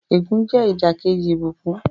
Ègún jẹ́ ìdàkejì ìbùkún.